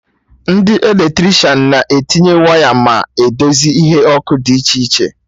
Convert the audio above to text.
Ndị Eletrishan na etinye waya ma edozi ihe ọkụ dị iche iche